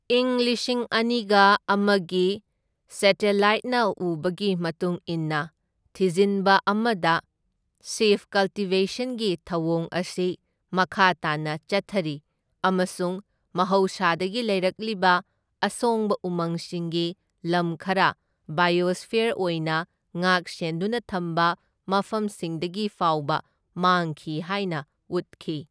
ꯏꯪ ꯂꯤꯁꯤꯡ ꯑꯅꯤꯒ ꯑꯃꯒꯤ ꯁꯦꯇꯦꯂꯥꯏꯠꯅ ꯎꯕꯒꯤ ꯃꯇꯨꯡ ꯏꯟꯅ ꯊꯤꯖꯤꯟꯕ ꯑꯃꯗ ꯁꯤꯐꯠ ꯀꯜꯇꯤꯚꯦꯁꯟꯒꯤ ꯊꯧꯑꯣꯡ ꯑꯁꯤ ꯃꯈꯥ ꯇꯥꯅ ꯆꯠꯊꯔꯤ ꯑꯃꯁꯨꯡ ꯃꯍꯧꯁꯥꯗꯒꯤ ꯂꯩꯔꯛꯂꯤꯕ ꯑꯁꯣꯡꯕ ꯎꯃꯪꯁꯤꯡꯒꯤ ꯂꯝ ꯈꯔ ꯕꯥꯏꯑꯣꯁ꯭ꯐꯤꯌꯔ ꯑꯣꯏꯅ ꯉꯥꯛ ꯁꯦꯟꯗꯨꯅ ꯊꯝꯕ ꯃꯐꯝꯁꯤꯡꯗꯒꯤ ꯐꯥꯎꯕ ꯃꯥꯡꯈꯤ ꯍꯥꯏꯅ ꯎꯠꯈꯤ꯫